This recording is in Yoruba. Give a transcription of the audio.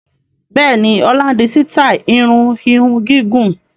Bẹ́ẹ̀ni, ọlá ń di sítai irun ìhun gígùn